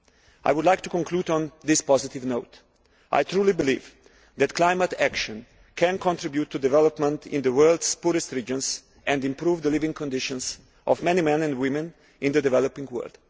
I would like to conclude on this positive note I truly believe that climate action can contribute to development in the world's poorest regions and improve the living conditions of many men and women in the developing world.